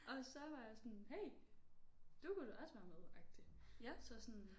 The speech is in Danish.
Og så var jeg sådan hey du kunne da også være medagtig så sådan